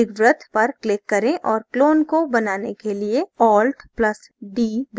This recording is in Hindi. दीर्घवृत्त पर click करें और clone को बनाने के लिए alt + d दबाएँ